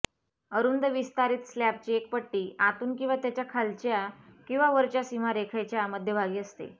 अरुंद विस्तारित स्लॅबची एक पट्टी आतून किंवा त्याच्या खालच्या किंवा वरच्या सीमारेखाच्या मध्यभागी असते